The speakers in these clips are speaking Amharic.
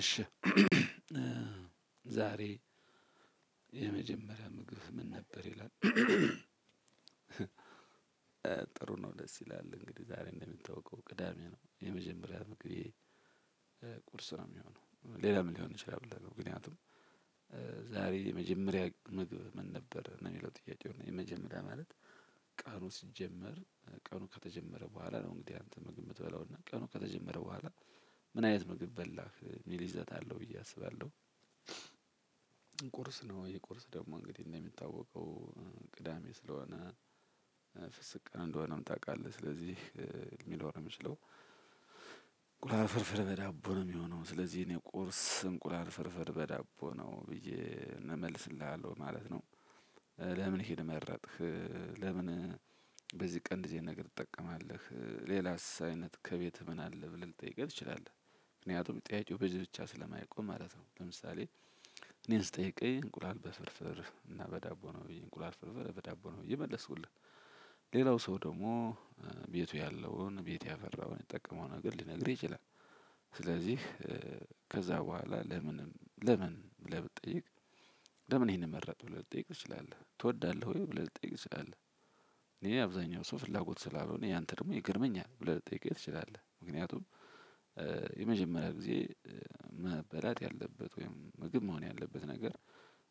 እሽ ኸ ዛሬ የመጀመርያህ ምግብህ ምን ነበር ይላል? ጥሩ ነው ደስ ይላል። እንግዲህ ዛሬ እንደሚንተዋወቀው ቅዳሜ ነው የመጀመሪያ ምግቤ እ ቁርስ ነው የሚሆነው ሌላ ምን ሊሆን ይችላል? ምክንያቱም እ ዛሬ የመጀመሪያ ምግብ ምን ነበር የሚለው ጥያቄው ነው። የመጀመሪያ ማለት ቀኑ ሲጀመር ቀኑ ከተጀመረ በኋላ ነው እንግዲህ አንተ ምግብ የምትበላው እና ቀኑ ከተጀመረ በኋላ ምን አይነት ምግብ በላህ ሚሊይዘት አለው ብዬ አስባለሁ። ቁርስ ነው ይሄ ቁርስ ደግሞ እንግዲህ እንደሚታወቀው እ ቅዳሜ ስለሆነ እ ፍስግ ቀን እንደሆነም ታውቃለህ ስለዚህ እ ሊኖር የሚችለው እንቁላል ፍርፍር በዳቦ ነው የሚሆነው ስለዚህ የኔ ቁርስ እንቁላል ፍርፍር በዳቦ ነው ብዬ እመልስልሃለሁ ማለት ነው። እ ለምን ይሄን መረጥክ? ለምን በዚህ ቀን እንደዚህ አይነት ነገር ትጠቀማለህ ሌላስ አይነት ከቤትህ ምን አለ ብለህ ልትጠይቀኝ ትችላለህ? ምክንያቱም ጥያቄው በዚህ ብቻ ስለማይቆም ማለት ነው። ለምሳሌ እኔን ስጠይቀኝ እንቁላል በፍርፍር እና በዳቦ ነው ብዬ እንቁላል ፍርፍር በዳቦ ነው ብዬ መለስኩልህ። ሌላው ሰው ደግሞ እ ቤቱ ያለውን ቤት ያፈራውን የሚጠቀመውን ነገር ሊነግርህ ይችላል። ስለዚህ እ ከዛ በኋላ ለምንም ለምን ብለህ ብትጠይቅ? ለምን ይሄንን መረጥክ ብለህ ልትጠይቅ ትችላለህ ትወዳለህ ወይ ብለህ ልትጠይቅ ትችላለህ? እኔ አብዛኛው ሰው ፍላጎት ስላልሆነ እኔ ያንተ ደግሞ ይገርመኛል ብለህ ልትጠይቀኝ ትችላለህ? ምክንያቱም እ የመጀመሪያ ጊዜ እ መበላት ያለበት ወይም ምግብ መሆን ያለበት ነገር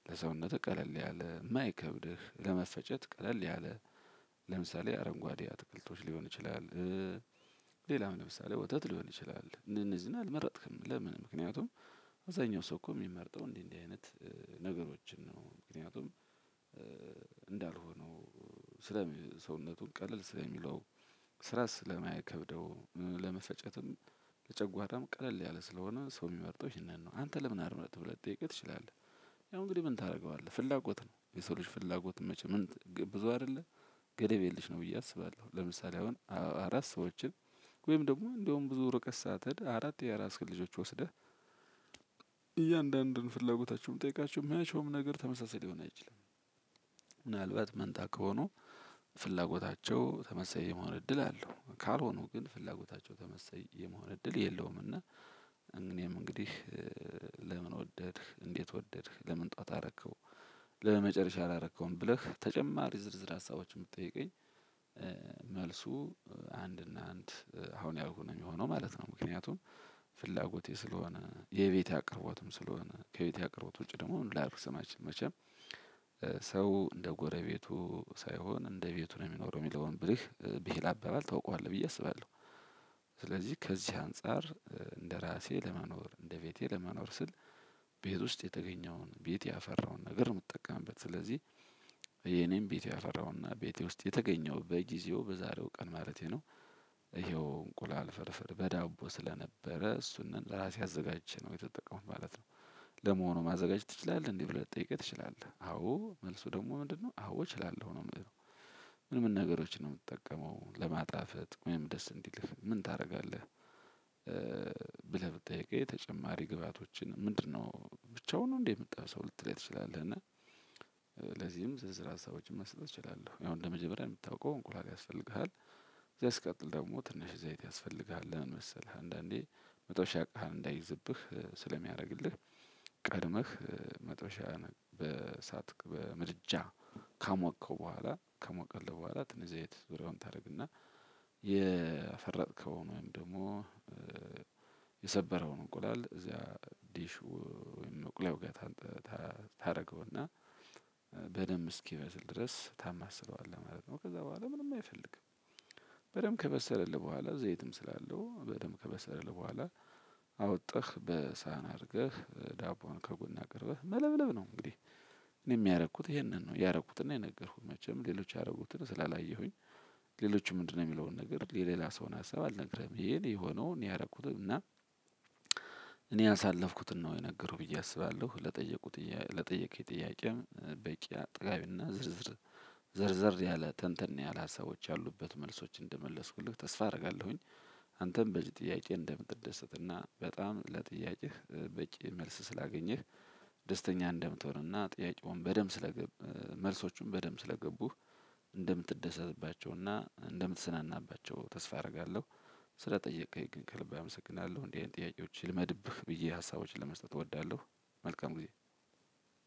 ለሰውነትህ ቀለል ያለ የማይከብድህ ለመፈጨት ቀለል ያለ ለምሳሌ አረንጓዴ አትክልቶች ሊሆን ይችላል። እ ሌላም ለምሳሌ ወተት ሊሆን ይችላል። እንደዚህ አልመረጥክም ለምን ምክንያቱም? አብዛኛው ሰው እኮ የሚመርጠው እንዲህ እንዲህ አይነት ነገሮችን ነው ምክንያቱም እንዳልሆነው ስለ ሰውነቱን ቀለል ስለሚለው ስራ ስለማይከብደው ለመፈጨትም ለጨጓራም ቀለል ያለ ስለሆነ ሰው የሚመርጠው ይሄንን ነው። አንተ ለምን አትመርጥም ብለህ ልትጠይቀኝ ትችላለህ? ያው እንግዲህ ምን ታደርገዋለህ ፍላጎት ነው የሰው ልጅ ፍላጎት መቼ ምን ብዙ አይደለ ገደብ የለሽ ነው ብዬ አስባለሁ። ለምሳሌ አሁን አራት ሰዎችን ወይም ደግሞ እንደውም ብዙ ርቀት ሳትሄድ አራት የራስክን ልጆች ወስደህ እያንዳንዱን ፍላጎታቸውን ብትጠይቃቸው መቼም ነገር ተመሳሳይ ሊሆን አይችልም። ምናልባት መንታ ከሆኑ ፍላጎታቸው ተመሳሳይ የመሆን እድል አለው ካልሆኑ ግን ፍላጎታቸው ተመሳሳይ የመሆን እድል የለውም። እና እኔም እንግዲህ እ ለምን ወደድክ እንዴት ወደድክ ለምን ጠዋት አረከው? ለመጨረሻ አላረከውም ብለህ ተጨማሪ ዝርዝር ሀሳቦችን የምትጠይቀኝ እ? መልሱ እ አንድ እና አንድ እ አሁን ያው ነው የሚሆነው ማለት ነው። ምክንያቱም ፍላጎቴ ስለሆነ የቤቴ አቅርቦትም ስለሆነ ከቤቴ አቅርቦት ውጪ ደግሞ ምንም ላደርግ አልችልም። መቼም ሰው እንደ ጎረቤቱ ሳይሆን እንደ ቤቱ ነው የሚኖረው የሚለውን ብልህ ብሂል አባባል ታውቀዋለህ ብዬ አስባለሁ። ስለዚህ ከዚህ አንፃር እ እንደራሴ ለመኖር እንደቤቴ ለመኖር ስል ቤት ውስጥ የተገኘውን ቤት ያፈራውን ነገር የምጠቀምበት ስለዚህ የኔን ቤት ያፈራውን ቤቴ ውስጥ የተገኘውን በጊዜው በዛሬው ቀን ማለቴ ነው። ይኸው እንቁላል ፍርፍር በዳቦ ስለነበረ እሱን ለራሴ አዘጋጅቼ ነው ቤት የተጠቀምኩት። ለመሆኑ ማዘጋጀት ትችላለህ እንዴ? ብለህ ልትጠይቅኝ ትችላለህ አዎ መልሱ ደግሞ ምንድነው አዎ እችላለሁ ነው ምለው። ምን ምን ነገሮችን ነው የምትጠቀመው ለማጣፈጥ ወይም ደስ እንዲልህ ምን ታደርጋለህ እ? ብለህ ብትጠይቀኝ ተጨማሪ ግብአቶችን ምንድነው ብቻውን ነው እንዴ የምትጠብሰው ልትለኝ ትችላለህ? እና እ ለዚህም ዝርዝር ሀሳቦችን መስጠት እችላለሁ ያው እንደ መጀመሪያ የምታውቀው እንቁላል ያስፈልግሃል። ከዚያ ሲቀጥል ደግሞ ትንሽ ዘይት ያስፈልግሃል ለምን መሰለህ አንዳንዴ መጥበሻ እቃህን እንዳይዝብህ ስለሚያደርግልህ። ቀድመህ እ መጥበሻ በሳት በምድጃ ካሞከው በኋላ ከሞቀልህ በኋላ ትንሽ ዘይት ዙሪያውን ታደርግና። የፈረጥከው ወይም ደግሞ እ የሰበረውን እንቁላል እዚያ ዲሽ ወይም እንቁላል ጋር ታደርገውና በደንብ እስኪበስል ድረስ ታማስለዋለህ ማለት ነው። ከዛ በኋላ ምንም አይፈልግም። በደንብ ከበሰለልህ በኋላ ዘይትም ስላለው በደንብ ከበሰለልህ በኋላ አውጠኽ በሳህን አድርገህ እ ዳቦውን ከጎን አቅርበህ መለብለብ ነው። እንግዲህ እኔ ያረኩት ይሄንን ነው ያረኩትን ነው። የነገርኩህ መቼም ሌሎች ያረጉትን ስላላየሁኝ ሌሎችም ምንድነው የሚለውን ነገር የሌላን ሰው ሀሳብ አልነግርህም ይሄ እኔ ሆኖ እኔ ያደረኩትን እና እኔ ያሳለፍኩትን ነው የነገርኩህ ብዬ አስባለሁ። ለጠየቁት ለጠየከኝ ጥያቄም በቂ አጥጋቢና ዝርዝር ዘር ዘር ያለ ተንተን ያለ ሀሳቦች ያሉበት መልሶች እንደመለስኩልህ ተስፋ አደርጋለሁኝ። አንተም በዚህ ጥያቄ እንደምትደሰት እና በጣም ለጥያቄህ እ በቂ መልስ ስላገኘህ ደስተኛ እንደምትሆንና ጥያቄውን በደንብ ስለገቡ መልሶቹን በደንብ ስለገቡህ እንደምትደሰትባቸውና እንደምትዝናናባቸው ተስፋ አደርጋለሁ። ስለጠየቀኝ ግን ከልብ አመሰግናለሁ እንዲህ አይነት ጥያቄዎች ይልመድብህ ብዬ ሀሳቦችን ለመስጠት እወዳለሁ። መልካም ጊዜ።